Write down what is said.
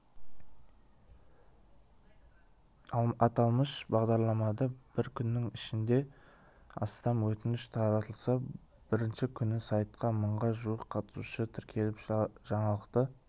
аталмыш бағдарламаға бір күннің ішінде астам өтініш толтырылса бірінші күні сайтқа мыңға жуық қатысушы тіркеліп жаңалықты